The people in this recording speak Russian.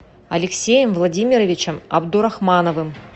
алексеем владимировичем абдурахмановым